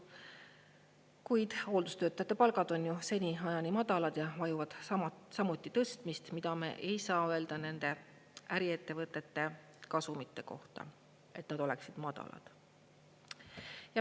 Kuid hooldustöötajate palgad on ju seniajani madalad ja vajavad samuti tõstmist, mida me ei saa öelda nende äriettevõtete kasumite kohta, et nad oleksid madalad.